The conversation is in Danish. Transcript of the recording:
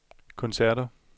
koncerter